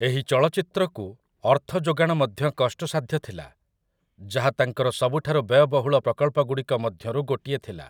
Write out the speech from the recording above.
ଏହି ଚଳଚ୍ଚିତ୍ରକୁ ଅର୍ଥ ଯୋଗାଣ ମଧ୍ୟ କଷ୍ଟସାଧ୍ୟ ଥିଲା, ଯାହା ତାଙ୍କର ସବୁଠାରୁ ବ୍ୟୟବହୁଳ ପ୍ରକଳ୍ପଗୁଡ଼ିକ ମଧ୍ୟରୁ ଗୋଟିଏ ଥିଲା ।